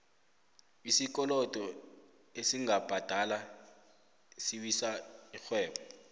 isikolodo esingabhadala siwisa ixhwebo